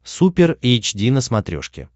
супер эйч ди на смотрешке